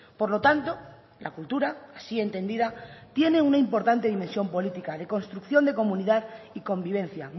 por lo tanto la cultura así entendida tiene una importante dimensión política de construcción de comunidad y convivencia